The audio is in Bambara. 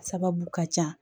Sababu ka ca